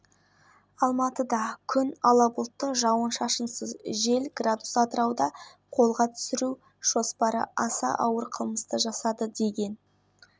пышақталған қаза тапқан адамның жеке-басы анықталды ол жастағы атырау тұрғыны болып шықты қалада қолға түсіру